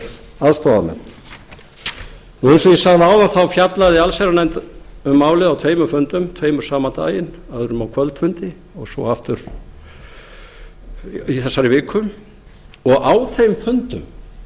og ég sagði áðan fjallaði allsherjarnefnd um málið á tveimur fundum tveimur sama daginn öðrum á kvöldfundi og svo aftur í þessari viku og á þeim fundum